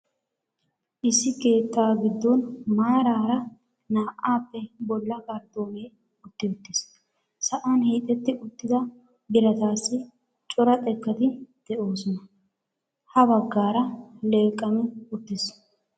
Issi keettaa giddon maaraara naa"aappe bolla karttoonee utti uttiis. Sa'an hiixxetti uttida biratassi cora xekkati de'oosona. Ha bagaara leeqqammi uttiis.